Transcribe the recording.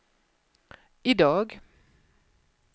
idag